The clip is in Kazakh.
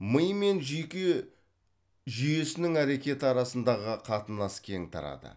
ми мен жүйке жүйесінің әрекеті арасындағы қатынас кең тарады